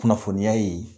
Kunnafoniya ye